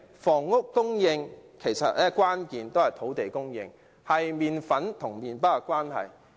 房屋供應的關鍵是土地供應，相等於麪粉與麪包的關係。